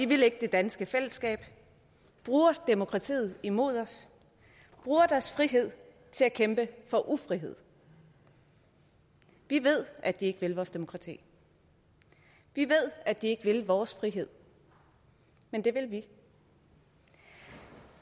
vil ikke det danske fællesskab bruger demokratiet imod os og bruger deres frihed til at kæmpe for ufrihed vi ved at de ikke vil vores demokrati vi ved at de ikke vil vores frihed men det vil vi